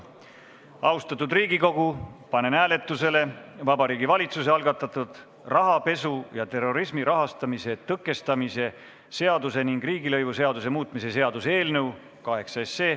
Austatud Riigikogu, panen hääletusele Vabariigi Valitsuse algatatud rahapesu ja terrorismi rahastamise tõkestamise seaduse ning riigilõivuseaduse muutmise seaduse eelnõu 8.